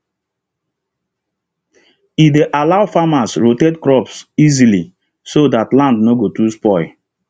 e dey allow farmers rotate crops easily so land no go too spoil